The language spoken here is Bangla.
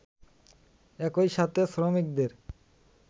একই সাথে শ্রমিকদের